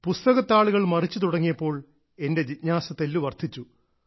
പുസ്തക താളുകൾ മറിച്ചു തുടങ്ങിയപ്പോൾ എന്റെ ജിജ്ഞാസ തെല്ലു വർദ്ധിച്ചു